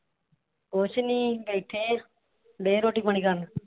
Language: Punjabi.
ਕੁਝ ਨਹੀ ਬੈਠੇ ਹਾਂ। ਦੇ ਰੋਟੀ ਪਾਣੀ ਖਾਣ ਨੂੰ